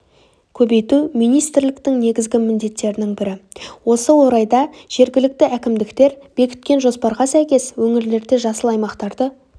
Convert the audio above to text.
көбейту министрліктің негізгі міндеттерінің бірі осы орайда жергілікті әкімдіктер бекіткен жоспарға сәйкес өңірлерде жасыл аймақтарды